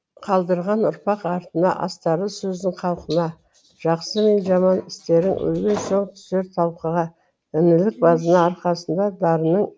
қалдырған ұрпақ артыңа астарлы сөзің халқыңа жақсы мен жаман істерің өлген соң түсер талқыға інілік базына арқасында дарынның